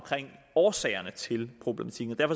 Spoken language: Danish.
årsagerne til problematikken og